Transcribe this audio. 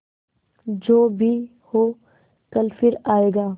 जो भी हो कल फिर आएगा